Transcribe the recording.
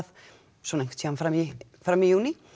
svona einhvern tímann fram í fram í júní